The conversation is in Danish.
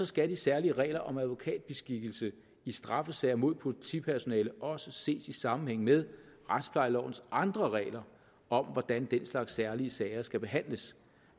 skal de særlige regler om advokatbeskikkelse i straffesager mod politipersonale også ses i sammenhæng med retsplejelovens andre regler om hvordan den slags særlige sager skal behandles